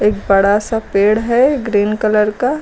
बड़ा सा पेड़ है ग्रीन कलर का।